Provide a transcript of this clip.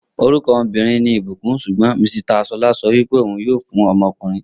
Orúkọ ọmọbìnrin ní ìbùkún sugbon Misita Ṣọlá sọ wípé òhun yíò fún ọmọkùnrin